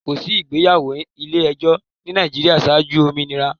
Kòsí ìgbéyàwó ilé-ẹjọ̀ ni Nàìjíríà ṣáájú òmìnira.